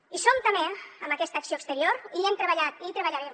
hi som també amb aquesta acció exterior i hi hem treballat i hi treballarem